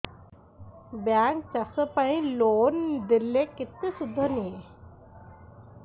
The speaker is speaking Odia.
ବ୍ୟାଙ୍କ୍ ଚାଷ ପାଇଁ ଲୋନ୍ ଦେଲେ କେତେ ସୁଧ ନିଏ